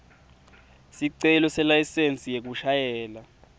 sicelo selayisensi yekushayela